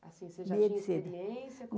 Assim, você já tinha experiência?